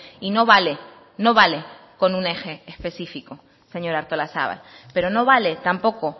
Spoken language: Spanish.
y no vale no vale con un eje especifico señora artolazabal pero no vale tampoco